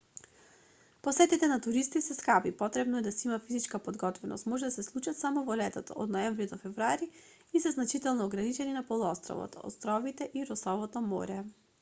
посетите на туристите се скапи потребно е да се има физичка подготвеност може да се случат само во летото од ноември до февруари и се значително ограничени на полуостровот островите и росовото море